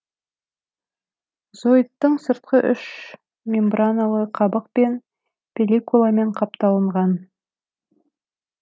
зоиттың сырты үш мембраналы қабықпен пелликуламен қапталынған